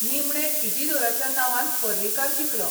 निमणे इजिदोराच्या नांवान पर्रीकार जिखलो.